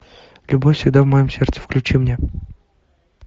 любовь всегда в моем сердце включи мне